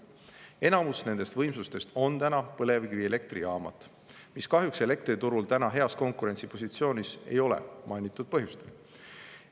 Enamus nendest võimsustest on praegu põlevkivielektrijaamad, mis kahjuks elektriturul heas konkurentsipositsioonis ei ole, seda juba mainitud põhjustel.